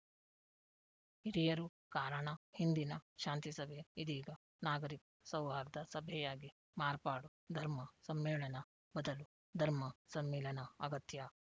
ಹಿರಿಯರು ಕಾರಣ ಹಿಂದಿನ ಶಾಂತಿಸಭೆ ಇದೀಗ ನಾಗರಿಕ ಸೌಹಾರ್ದ ಸಭೆಯಾಗಿ ಮಾರ್ಪಾಡು ಧರ್ಮ ಸಮ್ಮೇಳನ ಬದಲು ಧರ್ಮ ಸಮ್ಮಿಲನ ಅಗತ್ಯ